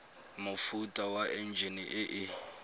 mofuta wa enjine e e